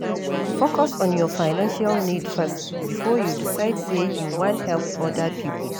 Focus on your financial needs first before you decide sey you wan help oda pipo